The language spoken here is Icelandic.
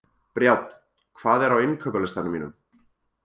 Brjánn, hvað er á innkaupalistanum mínum?